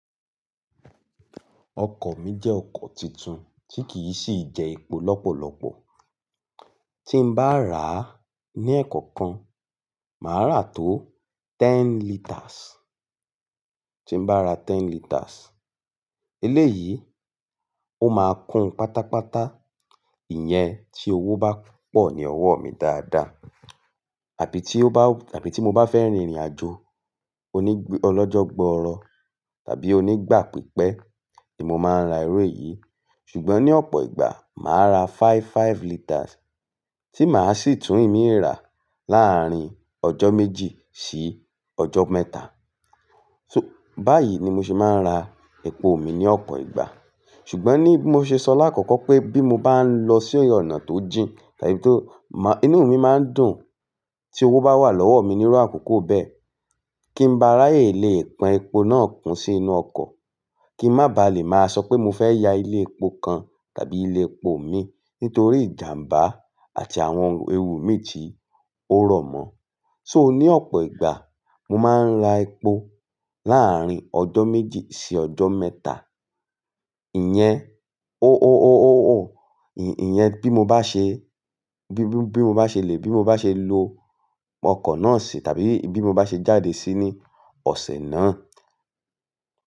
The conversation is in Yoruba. Ọkọ̀ mi jẹ́ ọkọ̀ tuntun tí kì í sì jẹ́ epo lọ́pọ̀lọpọ̀. Tí n bá rà ní ẹ̀kọ́ kan, màá rà tó ten liters. Tí n bá ra ten liters, eléyìí ó máa kun pátápátá. Ìyẹn tí owó bá pọ̀ ní ọwọ́ mi dáadáa tàbí tí ó bá tàbí tí mo bá fẹ́ rin ìrìnàjò onígb-ọlọ́jọ́ gbọọrọ tàbí onígbà pípẹ́ ni mo máa ń ra irú èyí. Ṣùgbọ́n ní ọ̀pọ̀ ìgbà, màá ra five five liters tí màá sì tún ìmí rà láàárín ọjọ́ méjì sí ọjọ́ mẹ́ta. So báyìí ni mo ṣe máa ń ra epo mi ní ọ̀pọ̀ ìgbà. Ṣùgbọ́n ní bí mo ṣe sọ láàkọ́kọ́ pé bí mo bá ń lọ sí ọ̀nà tó jìn tàbí tó má inú mi máa ń dùn tí owó bá wà lọ́wọ́ mi nírú àkókò bẹ́ẹ̀ kí n ba ráyè lè pọn epo náà kún sí inú ọkọ̀. Kí n má ba lè máa sọ pé mo fẹ́ ya ilé epo kan tàbí ilé epo mi nítorí ìjàmbá àti àwọn ewu mi tí ó rọ̀ mọ́. So ní ọ̀pọ̀ ìgbà, mo máa ń ra epo láàárín ọjọ́ méjì sí ọjọ́ mẹ́ta. Ìyẹn o o o o o o ì-ìyẹn bí mo bá ṣe bí bí mo bá ṣe lè bí mo bá ṣe lo ọkọ̀ náà ṣe tàbí bí mo bá ṣe jáde sí ní ọ̀sẹ̀ náà.